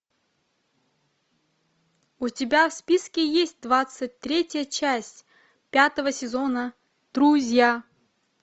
у тебя в списке есть двадцать третья часть пятого сезона друзья